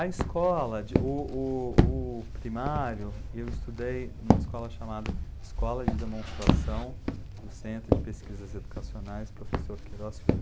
A escola, o,o, o, primário, eu estudei numa escola chamada Escola de Demonstração do Centro de Pesquisas Educacionais Professor Queiroz Filho.